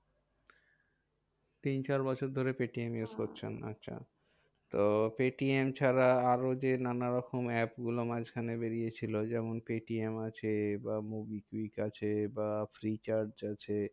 তিন চার বছর ধরে পেটিএম use করছেন। আচ্ছা তো পেটিএম ছাড়া আর ও যে নানা রকম apps গুলো মাঝখানে বেরিয়ে ছিল। যেমন পেটিএম আছে বা মোবিকুইক আছে বা ফ্রীচার্জ আছে